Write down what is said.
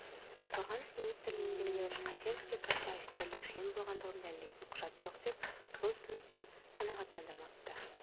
қорғаныс министірлігіндегілер қайсеновте баста офицерлік шен болғандығын дәлелдейтін құжат жоқ деп бұл ұсынысты қанағаттандырмапты